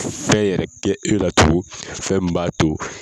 Fɛn yɛrɛ kɛ e la tugun, fɛn m b'a to